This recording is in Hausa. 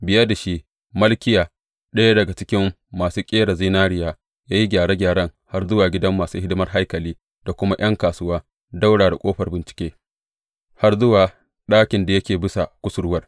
Biye da shi, Malkiya, ɗaya daga cikin masu ƙera zinariya ya yi gyare gyaren har zuwa gidan masu hidimar haikali da kuma ’yan kasuwa, ɗaura da Ƙofar Bincike, har zuwa ɗakin da yake bisa kusurwar.